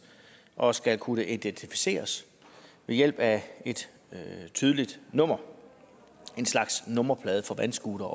og skal kunne identificeres ved hjælp af et tydeligt nummer en slags nummerplade for vandscootere